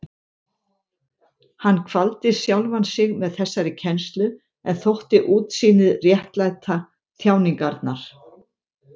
Hann kvaldi sjálfan sig með þessari kennslu en þótti útsýnið réttlæta þjáningarnar.